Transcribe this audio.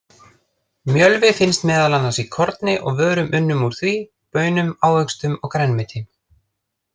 Mjölvi finnst meðal annars í korni og vörum unnum úr því, baunum, ávöxtum og grænmeti.